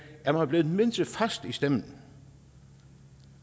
er man blevet mindre fast i stemmen